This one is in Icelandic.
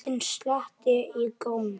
Bóndinn sletti í góm.